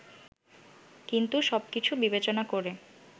কিন্তু সবকিছু বিবেচনা করে